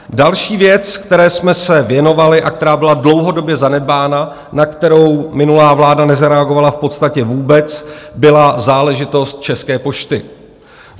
Další věc, které jsme se věnovali a která byla dlouhodobě zanedbána, na kterou minulá vláda nezareagovala v podstatě vůbec, byla záležitost České pošty.